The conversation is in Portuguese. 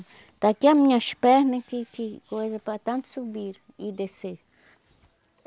Está aqui as minhas pernas, que que coisa para tanto subir e descer.